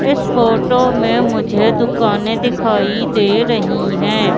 इस फोटो में मुझे दुकानें दिखाई दे रही हैं।